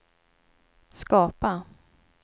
skapa